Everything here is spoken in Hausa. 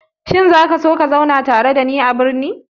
Shin za ka so ka zauna tare da ni a birni?